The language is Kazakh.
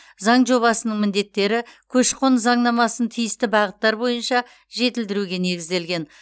заң жобасының міндеттері көші қон заңнамасын тиісті бағыттар бойынша жетілдіруге негізделген